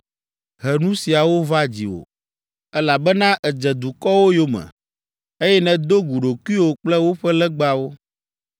he nu siawo va dziwò, elabena èdze dukɔwo yome, eye nèdo gu ɖokuiwò kple woƒe legbawo.